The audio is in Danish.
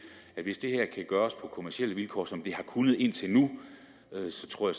at hvis det her kan gøres på kommercielle vilkår som det har kunnet indtil nu så tror